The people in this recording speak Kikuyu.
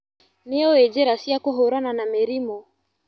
Nĩũĩ njĩra cia kũhũrana na mĩrimũ.